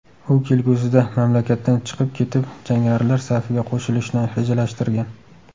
U kelgusida mamlakatdan chiqib ketib, jangarilar safiga qo‘shilishni rejalashtirgan.